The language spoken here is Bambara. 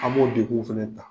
An b'o degun fɛnɛ ta.